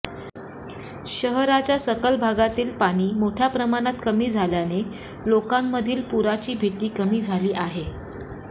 शहराच्या सखल भागातील पाणी मोठ्या प्रमाणात कमी झालेने लोकांमधील पुराची भीती कमी झाली आहे